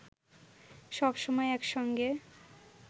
সব সময় একসঙ্গে